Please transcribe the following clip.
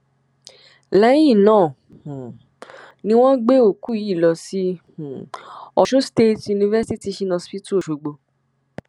lẹyìn náà um ni wọn gbé òkú yìí lọ sí um ọṣun state university teaching hospital ọṣọgbó